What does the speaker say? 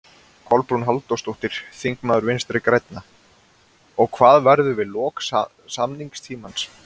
Kolbrún Halldórsdóttir, þingmaður Vinstri-grænna: Og hvað verður við lok samningstímans?